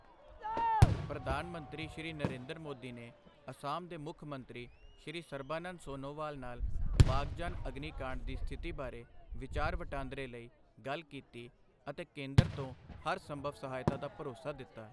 ਪ੍ਰਧਾਨ ਮੰਤਰੀ ਸ਼੍ਰੀ ਨਰਿੰਦਰ ਮੋਦੀ ਨੇ ਅਸਾਮ ਦੇ ਮੁੱਖ ਮੰਤਰੀ ਸ਼੍ਰੀ ਸਰਬਾਨੰਦ ਸੋਨੋਵਾਲ ਨਾਲ ਬਾਗ਼ਜਾਨ ਅਗਨੀ ਕਾਂਡ ਦੀ ਸਥਿਤੀ ਬਾਰੇ ਵਿਚਾਰ ਵਟਾਂਦਰੇ ਲਈ ਗੱਲ ਕੀਤੀ ਅਤੇ ਕੇਂਦਰ ਤੋਂ ਹਰ ਸੰਭਵ ਸਹਾਇਤਾ ਦਾ ਭਰੋਸਾ ਦਿੱਤਾ।